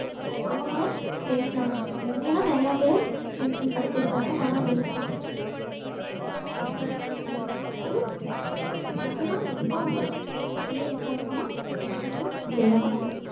அவங்களும் tension ஆக மாட்டாங்க என்னை எல்லாம் நிறைய பேர் tension படுத்திருக்காங்க நானெல்லாம் tension ஆயிருக்கேன் நமக்கு நம்ம எப்பவுமே தேவைக்கு அதிகமா வேலையும் செய்யக் கூடாது